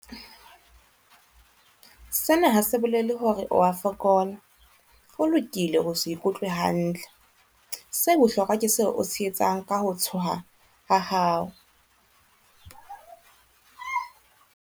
Sena ha se bolele hore o a fokola. Ho lokile ho se ikutlwe hantle. Se bohlokwa ke seo o se etsang ka ho tshoha ha hao.